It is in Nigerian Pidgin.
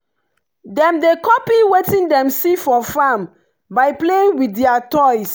dem dey copy wetin dem see for farm by playing with their toys.